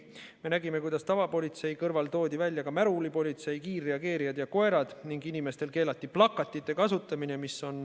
Me nägime, kuidas tavapolitsei kõrval toodi välja ka märulipolitsei, kiirreageerijad ja koerad ning inimestel keelati plakatite kasutamine.